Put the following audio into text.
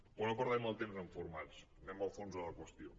però no perdem el temps en formats anem al fons de la qüestió